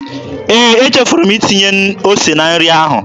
Ee, echefuru m itinye ose na nri ahụ.